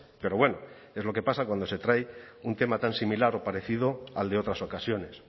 pero bueno es lo que pasa cuando se trae un tema tan similar o parecido al de otras ocasiones